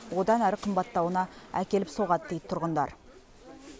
одан әрі қымбаттауына әкеліп соғады дейді тұрғындар